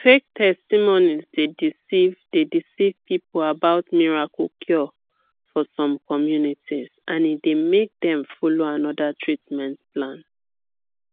fake testimonies dey deceive dey deceive people about miracle cure for some communities and e dey make dem follow another treatment plan